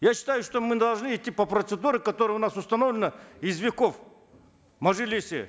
я считаю что мы должны идти по процедуре которая у нас установлена из веков в мажилисе